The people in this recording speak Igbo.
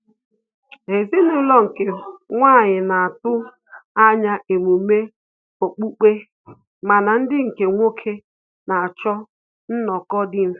Ezinaulo nke nwanyi na-atụ anya emume okpukpe mana ndị nke nwoke na-achọ nnọ́kọ dị mfe